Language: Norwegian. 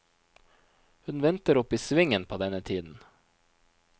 Hun venter oppe i svingen på denne tiden.